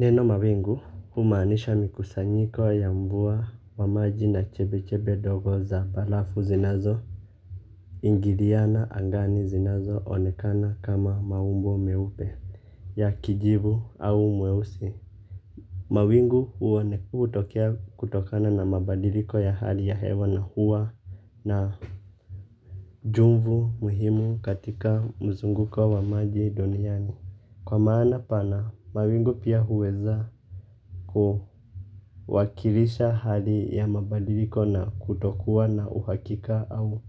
Neno mawingu humaanisha mikusanyiko ya mvua wa maji na chepe chepe ndogo za barafu zinazo ingiliana angani zinazo onekana kama maumbo meupe ya kijivu au mweusi. Mawingu huone hutokea kutokana na mabadiliko ya hali ya hewa na huwa na jumvu muhimu katika mzunguko wa maji duniani. Kwa maana pana mawingu pia huweza kuwakilisha hali ya mabadiliko na kutokuwa na uhakika au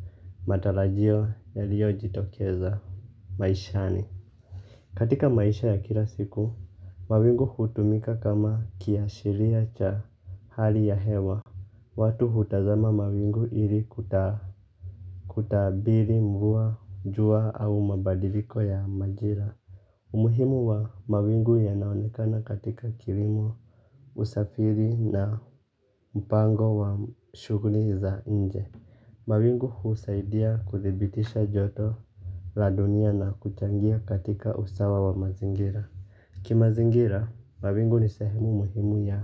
matarajio yaliyo jitokeza maishani. Katika maisha ya kila siku, mawingu hutumika kama kiashiria cha hali ya hewa. Watu hutazama mawingu ili kutabiri mvua, jua au mabadiliko ya majira. Umuhimu wa mawingu yanaonekana katika kilimo usafiri na mpango wa shughuli za nje. Mawingu husaidia kuthibitisha joto la dunia na kuchangia katika usawa wa mazingira. Kimazingira, mawingu ni sehemu muhimu ya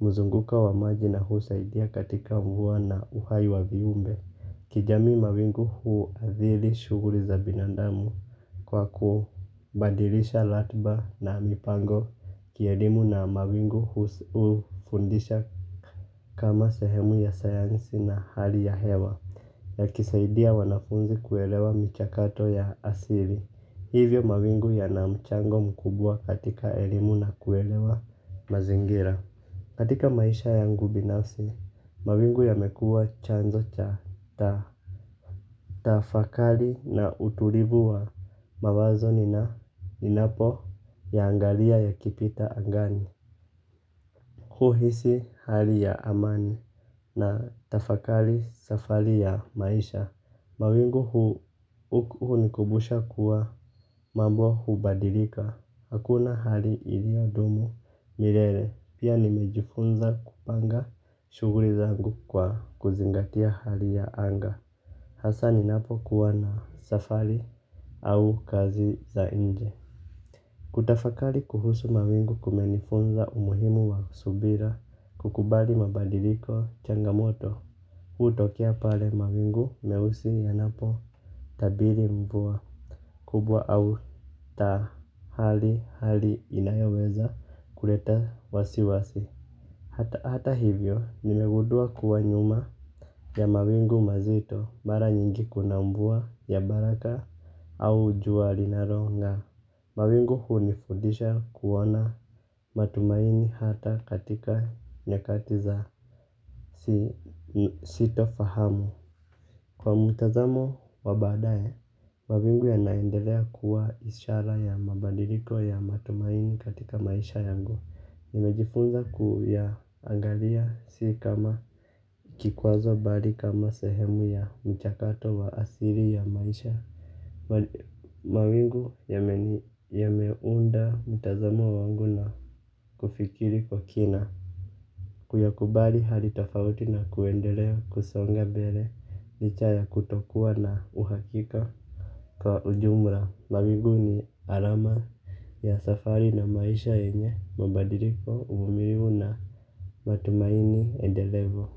mzunguko wa maji na husaidia katika mvua na uhai wa viumbe. Kijamii mawingu huadhiri shughuli za binandamu kwa kubadilisha ratba na mipango kielimu na mawingu hufundisha kama sehemu ya sayansi na hali ya hewa ya kisaidia wanafunzi kuelewa michakato ya asili hivyo mawingu yana mchango mkubwa katika elimu na kuelewa mazingira. Katika maisha yangu binafsi, mawingu yamekua chanzo cha. Tafakari na utulivu wa mawazo ninapo yaangalia yakipita angani. Huhisi hali ya amani na tafakari safari ya maisha. Mawingu hunikumbusha kuwa mambo hubadilika. Hakuna hali iliyodumu milele. Pia nilijifunza kupanga shughuli zangu kwa kuzingatia hali ya anga. Hasa ninapo kuwa na safari au kazi za nje. Kutafakari kuhusu mawingu kumenifunza umuhimu wa subira kukubali mabadiliko changamoto hutokea pale mawingu nyeusi yanapotabiri mvua. Kubwa au tahali hali inayoweza kuleta wasiwasi. Hata hivyo nimegundua kuwa nyuma ya mawingu mazito bara nyingi kuna mvua ya baraka au jua linalonga. Mawingu hunifundisha kuona matumaini hata katika nyakati za sitofahamu. Kwa mtazamo wa baadae, mawingu yanaendelea kuwa ishara ya mabadiliko ya matumaini katika maisha yangu. Nimejifunza kuya angalia si kama kikwazo bali kama sehemu ya mchakato wa asili ya maisha. Mawingu yame unda mtazamo wangu na kufikiri kwa kina. Kuyakubali hali tofauti na kuendelea kusonga mbele licha ya kutokua na uhakika. Kwa ujumla mawingu ni alama ya safari na maisha yenye mabadiliko uvumilivu na matumaini endelevu.